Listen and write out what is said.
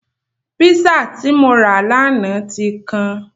Písà tí mo rà lánàá ti kan.